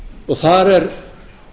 og þar er